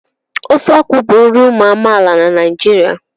Ofe akwụ bụ nri ụmụ amaala na Naijiria.